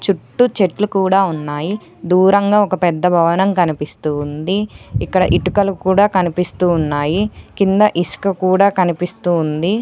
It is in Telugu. చుట్టూ చెట్లు కూడా ఉన్నాయి దూరంగా ఒక పెద్ద భవనం కనిపిస్తూ ఉంది ఇక్కడ ఇటుకలు కూడా కనిపిస్తూ ఉన్నాయి కింద ఇసుక కూడా కనిపిస్తూ ఉంది.